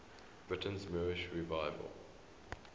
britain's moorish revival